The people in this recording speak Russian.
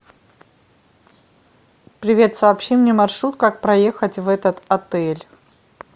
привет сообщи мне маршрут как проехать в этот отель